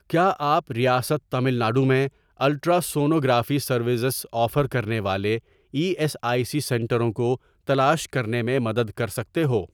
کیا آپ ریاست تامل ناڈو میں الٹراسونوگرافی سروسز آفر کرنے والے ای ایس آئی سی سنٹروں کو تلاش کرنے میں مدد کر سکتے ہو؟